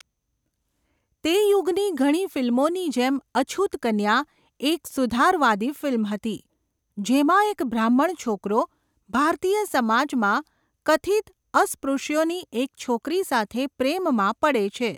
તે યુગની ઘણી ફિલ્મોની જેમ, અછૂત કન્યા એક સુધારવાદી ફિલ્મ હતી, જેમાં એક બ્રાહ્મણ છોકરો ભારતીય સમાજમાં કથિત અસ્પૃશ્યોની એક છોકરી સાથે પ્રેમમાં પડે છે.